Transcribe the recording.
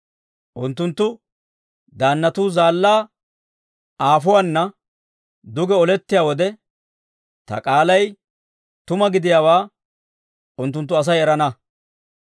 Unttunttu daannatuu zaallaa aafuwaana, duge olettiyaa wode, ta k'aalay tuma gidiyaawaa unttunttu Asay erana.